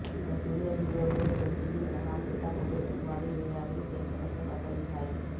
ఇక సీనియర్ హీరోల్లో చిరంజీవి మినహా మిగితా ముగ్గురి సినిమాలు ఏ ఏడాది ప్రేక్షకులని పలకరించాయి